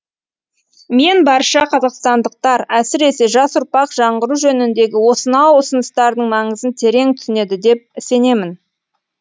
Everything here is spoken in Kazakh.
мен барша қазақстандықтар әсіресе жас ұрпақ жаңғыру жөніндегі осынау ұсыныстардың маңызын терең түсінеді деп сенемін